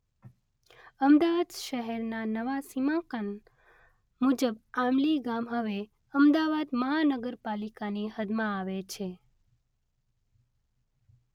અમદાવાદ શહેરના નવા સીમાંકન મુજબ આંબલી ગામ હવે અમદાવાદ મહાનગરપાલિકાની હદમાં આવે છે.